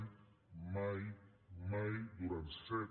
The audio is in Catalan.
mai mai durant set